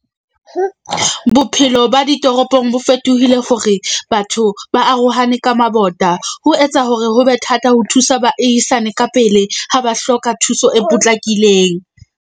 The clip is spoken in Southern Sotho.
Bophelo ba ditoropong bo fetohile hore batho ba arohane ka mabota. Ho etsa hore ho be thata ho thusa baahisane ka pele ha ba hloka thuso e potlakileng.